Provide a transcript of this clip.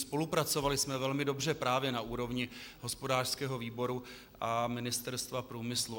Spolupracovali jsme velmi dobře právě na úrovni hospodářského výboru a Ministerstva průmyslu.